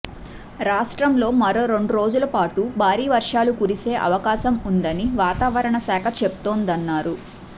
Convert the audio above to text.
రాష్ట్రంలో మరో రెండు రోజులపాటు భారీ వర్షాలు కురిసే అవకాశం ఉందని వాతావరణ శాఖ చెప్తోందన్నారు